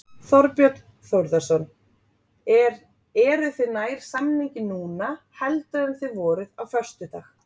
Þorbjörn Þórðarson: Er, eruð þið nær samningi núna heldur en þið voruð á föstudag?